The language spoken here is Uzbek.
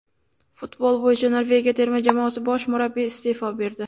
Futbol bo‘yicha Norvegiya terma jamoasi bosh murabbiyi iste’fo berdi.